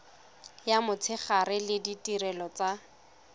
ya motshegare le ditirelo tsa